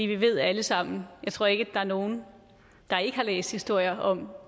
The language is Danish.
vi ved alle sammen jeg tror ikke er nogen der ikke har læst historier om